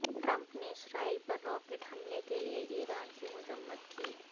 Trump نے Israel پر rocket حملے کے لئے ایران کی مذمت کی